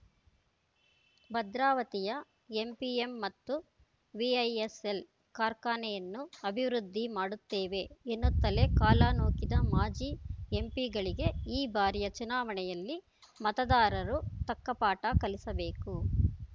ಭದ್ರಾವತಿಯ ಎಂಪಿಎಂ ಮತ್ತು ವಿಐಎಸ್‌ಎಲ್‌ ಕಾರ್ಖಾನೆಯನ್ನು ಅಭಿವೃದ್ಧಿ ಮಾಡುತ್ತೇವೆ ಎನ್ನುತ್ತಲೇ ಕಾಲ ನೂಕಿದ ಮಾಜಿ ಎಂಪಿಗಳಿಗೆ ಈ ಬಾರಿಯ ಚುನಾವಣೆಯಲ್ಲಿ ಮತದಾರರು ತಕ್ಕ ಪಾಠ ಕಲಿಸಬೇಕು